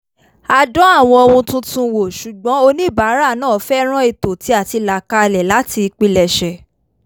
a dán àwọn ohun tuntun wò ṣùgbọ́n oníbàárà náà fẹ́ràn ètò tí a ti là kalẹ̀ láti ìpilẹ̀sẹ̀